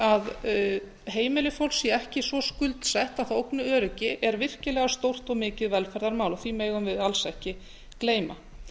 að heimili fólks séu ekki svo skuldsett að það ógni öryggi er virkilega stórt og mikið velferðarmál því megum við alls ekki gleyma